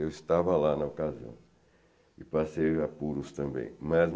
Eu estava lá na ocasião e passei apuros também, mas